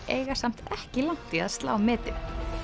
eiga samt ekki langt í að slá metið